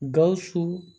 Gawusu